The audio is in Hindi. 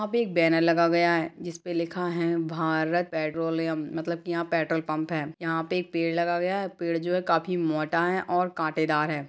यहाँ पे एक बैनर लगा गया है जिसपे लिखा है भारत पेट्रोलियम मतलब की यहाँ पेट्रोल पंप है यहाँ पे एक पेड़ लगा गया है पेड़ जो है काफी मोटा है और कांटेदार है।